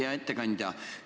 Hea ettekandja!